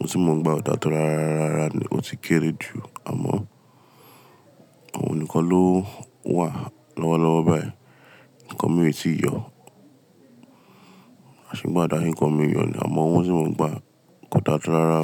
Owó tí mo ń gba ò dáa tó rárá rárá ni, ó ti kéré jù àmọ́ òun nìkan ló wà lọ́wọ́lọ́wọ́ báyìí. Nǹkan mi o ti yọ, àṣìkò àdá nǹkan méjì hàn ní àmọ́ owó tí mo ń gba kò dáa tó rárá.